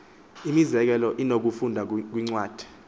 imizekelo inokufundwa kwincwadi